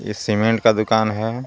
ये सीमेंट का दूकान हे.